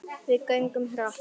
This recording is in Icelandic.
Við göngum hratt.